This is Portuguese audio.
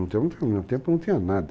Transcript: No meu tempo não tinha nada.